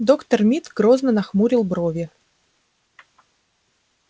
доктор мид грозно нахмурил брови